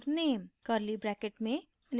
curly brackets में